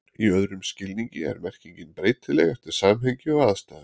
í öðrum skilningi er merkingin breytileg eftir samhengi og aðstæðum